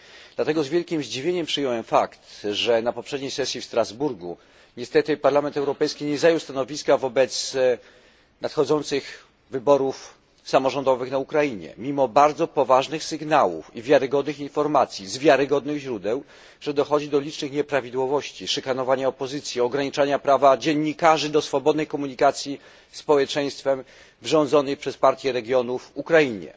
Dlatego z wielkim zdziwieniem przyjąłem fakt, że na poprzedniej sesji w Strasburgu Parlament Europejski niestety nie zajął stanowiska wobec nadchodzących wyborów samorządowych na Ukrainie, mimo bardzo poważnych sygnałów i wiarygodnych informacji z wiarygodnych źródeł, że dochodzi do licznych nieprawidłowości, szykanowania opozycji, ograniczania prawa dziennikarzy do swobodnej komunikacji ze społeczeństwem na rządzonej przez Partię Regionów Ukrainie.